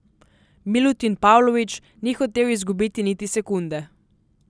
Milutin Pavlović ni hotel izgubiti niti sekunde.